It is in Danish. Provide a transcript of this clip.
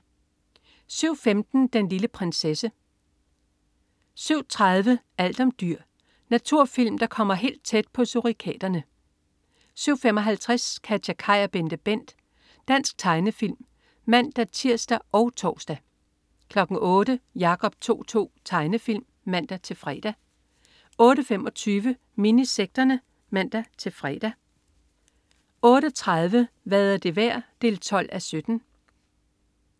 07.15 Den lille prinsesse (man-fre) 07.30 Alt om dyr. Naturfilm der kommer helt tæt på surikaterne 07.55 KatjaKaj og BenteBent. Dansk tegnefilm (man-tirs og tors) 08.00 Jacob To-To. Tegnefilm (man-fre) 08.25 Minisekterne (man-fre) 08.30 Hvad er det værd? 12:17